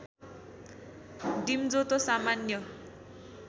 डिम्जो त सामान्य